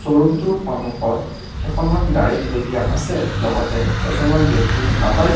room টোৰ সন্মুখত কেইখনমান গাড়ী থৈ দিয়া আছে লগতে কেইজনমান ব্যক্তিও দেখা পাই--